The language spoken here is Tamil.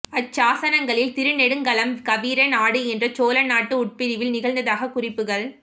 அச்சாசனங்களில் திருநெடுங்களம் கவீர நாடு என்ற சோழ நாட்டு உட்பிரிவில் திகழ்ந்ததாகக் குறிப்புகள்